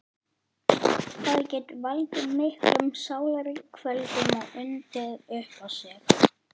Það getur valdið miklum sálarkvölum og undið upp á sig.